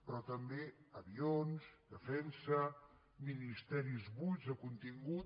però també avions defensa ministeris buits de contingut